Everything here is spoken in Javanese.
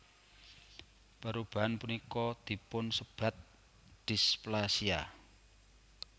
Perubahan punika dipunsebat displasia